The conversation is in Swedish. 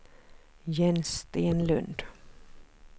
Jens Stenlund